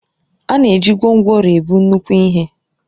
A na-eji gwongworo ebu nnukwu ihe